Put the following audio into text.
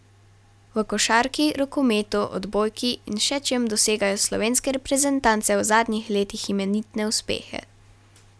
V košarki, rokometu, odbojki in še čem dosegajo slovenske reprezentance v zadnjih letih imenitne uspehe.